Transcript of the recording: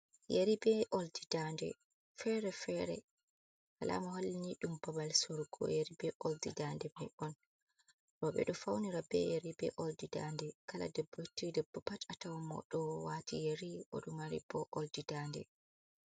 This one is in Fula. Yari be uldi dade fere-fere alama hollini ɗum babal surugo yari be oldidande mai on, roɓɓe ɗo faunira be yari be oldi dande kala debbo yotti debbo pat atawamo oɗo wati yari oɗo mari bo oldi dande.